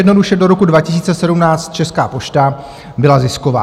Jednoduše, do roku 2017 Česká pošta byla zisková.